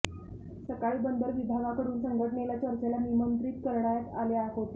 सकाळी बंदर विभागाकडून संघटनेला चर्चेला निमंत्रित करण्यात आले होते